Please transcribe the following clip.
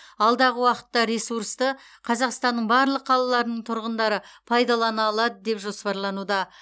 алдағы уақытта ресурсты қазақстанның барлық қалаларының тұрғындары пайдалана алады деп жоспарлануда